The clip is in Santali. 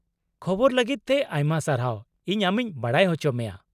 -ᱠᱷᱚᱵᱚᱨ ᱞᱟᱹᱜᱤᱫ ᱛᱮ ᱟᱭᱢᱟ ᱥᱟᱨᱦᱟᱣ, ᱤᱧ ᱟᱢᱤᱧ ᱵᱟᱰᱟᱭ ᱚᱪᱚᱢᱮᱭᱟ ᱾